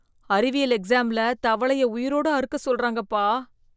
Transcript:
அறிவியல் எக்ஸாம்ல தவளைய உயிரோட அறுக்க சொல்றாங்கப்பா!